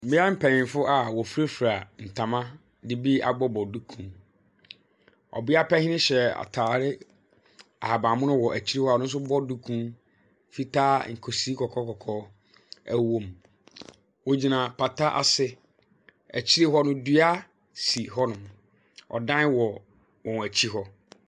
Mmea mpanyinfo a wofirafira ntama de bi abobɔbobɔ duku. Ɔbea panyin hyɛ atare ahabammono wɔ akyire hɔ a ɔno nso bɔ duku fitaa, nkosi nkɔkɔɔnkɔkɔɔ wɔ mu. Wogyina pata ase. Akyire hɔ no, dua si hɔnom. Ɔdan wɔ wɔn akyi hɔ.